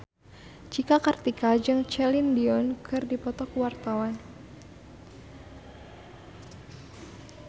Cika Kartika jeung Celine Dion keur dipoto ku wartawan